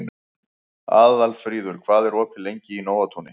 Aðalfríður, hvað er opið lengi í Nóatúni?